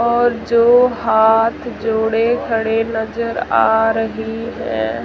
और जो हाथ जोड़े खड़े नजर आ रही है।